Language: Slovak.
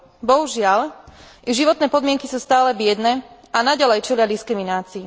Bohužiaľ, ich životné podmienky sú stále biedne a naďalej čelia diskriminácii.